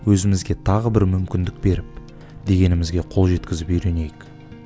өзімізге тағы бір мүмкіндік беріп дегенімізге қол жеткізіп үйренейік